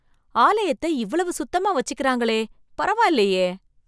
ஆலயத்தை இவ்வளவு சுத்தமா வச்சிக்கிறாங்களே பரவாயில்லையே!